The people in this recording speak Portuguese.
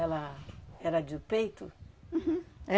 Ela era de o peito? Uhum.